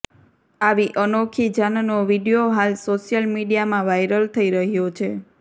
આવી અનોખી જાનનો વીડિયો હાલ સોશિયલ મીડિયામાં વાઈરલ થઈ રહ્યો છે